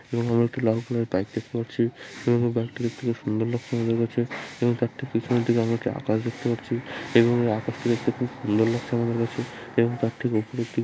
এবং আমরা একটি লাল কালার এর বাইক দেখতে পারছি এবং বাইক টি দেখতে খুব সুন্দর লাগছে আমাদের কাছে এবং তার ঠিক পেছনের দিকে আমরা একটি আকাশ দেখতে পারছি এবং আকাশটি দেখতে খুব সুন্দর লাগছে আমাদের কাছে এবং তার ঠিক উপরে একটি।